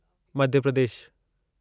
Madhya Pradesh